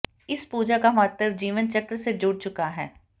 इस पूजा का महत्व जीवन चक्र से जुड़ चुका है